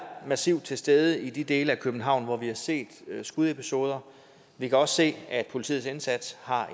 massivt til stede i de dele af københavn hvor vi har set skudepisoder vi kan også se at politiets indsats har